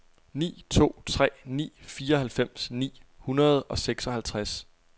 ni to tre ni fireoghalvfems ni hundrede og seksoghalvtreds